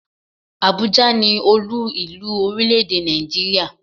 Abuja ni Olú ìlú orílè-èdè Nàìjíríà.